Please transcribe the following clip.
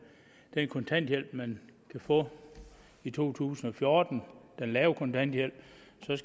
den kontanthjælp man kan få i to tusind og fjorten den lave kontanthjælp